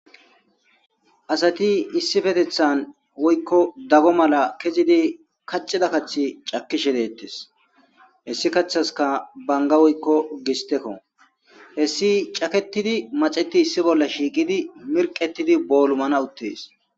Asati issifetethan woykko dago mala kezidi kacida kathi cakishe dettes hessi kaththaska banga woykko gistekko hessi caketidi maxeti issi bolla shiiqidi mirqetidi boolumana uttees.